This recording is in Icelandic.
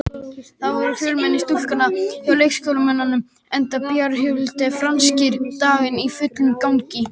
Það var fjölmenn stúkan hjá Leiknismönnum, enda bæjarhátíðin Franskir dagar í fullum gangi.